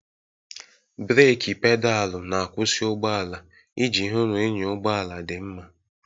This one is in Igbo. Breeki Pedaalụ na-akwụsị ụgbọ ala iji hụ na ịnya ụgbọ ala dị mma.